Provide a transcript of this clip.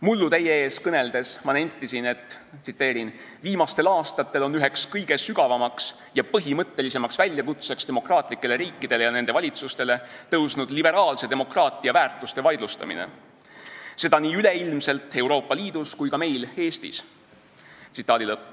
Mullu teie ees kõneledes nentisin, et viimastel aastatel on üheks kõige sügavamaks ja põhimõtteliseks väljakutseks demokraatlikele riikidele ja nende valitsustele tõusnud liberaalse demokraatia väärtuste vaidlustamine, seda nii üleilmselt, Euroopa Liidus kui ka meil Eestis.